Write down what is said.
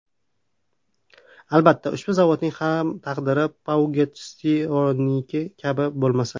Albatta, ushbu zavodning ham taqdiri Peugeot-Citroen’niki kabi bo‘lmasa .